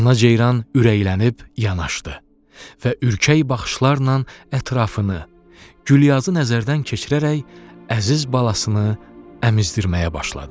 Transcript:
Ana ceyran ürəklənib yanaşdı və ürkək baxışlarla ətrafını, Gülyazı nəzərdən keçirərək əziz balasını əmizdirməyə başladı.